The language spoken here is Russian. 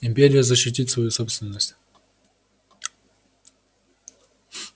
империя защитит свою собственность